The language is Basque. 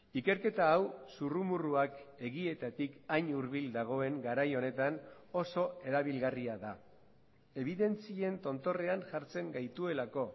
ikerketa hau zurrumurruak egietatik hain hurbil dagoen garai honetan oso erabilgarria da ebidentzien tontorrean jartzen gaituelako